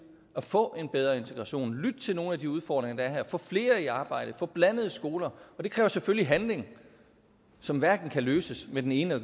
at få en bedre integration og lytte til nogle af de udfordringer der er her få flere i arbejde få blandede skoler og det kræver selvfølgelig handling som hverken kan løses med den ene